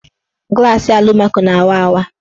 Glasị alụmaco na-awa awa.